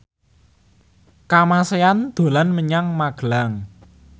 Kamasean dolan menyang Magelang